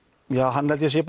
hann held ég að sé